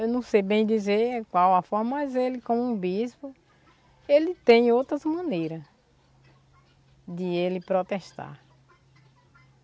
Eu não sei bem dizer qual a forma, mas ele, como bispo, ele tem outras maneiras de ele protestar.